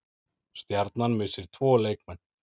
Stjarnan missir tvo leikmenn